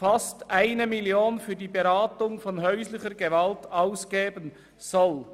beinahe 1 Mio. Franken für die Beratung ausgeben soll.